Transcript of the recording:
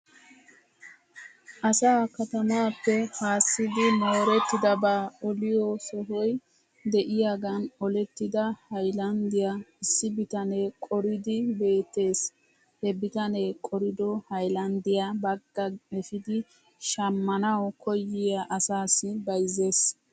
Asa katamaappe haassidi moorettidabaa oliyoo sohoy de'iyaagan olettida haylanddiyaa issi bitanee qoriiddi beettes. He bitanee qorido haylanddiyaa baagaa efidi shamanaw koyiyaa asassi bayzzes.